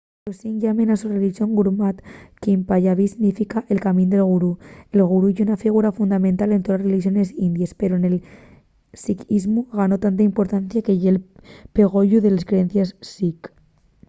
los sikhs llamen a la so relixón gurmat qu'en panyabí significa el camín del gurú”. el gurú ye una figura fundamental en toles relixones indies pero nel sikhismu ganó tanta importancia que ye'l pegoyu de les creencies sikh